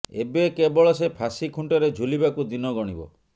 ଏବେ କେବଳ ସେ ଫାଶୀ ଖୁଣ୍ଟରେ ଝୁଲିବାକୁ ଦିନ ଗଣିବ